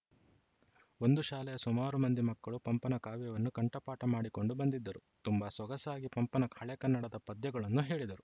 ಒಂದು ಶಾಲೆಯ ಸುಮಾರು ಮಂದಿ ಮಕ್ಕಳು ಪಂಪನ ಕಾವ್ಯವನ್ನು ಕಂಠಪಾಠ ಮಾಡಿಕೊಂಡು ಬಂದಿದ್ದರು ತುಂಬಾ ಸೊಗಸಾಗಿ ಪಂಪನ ಹಳೆಗನ್ನಡ ಪದ್ಯಗಳನ್ನು ಹೇಳಿದರು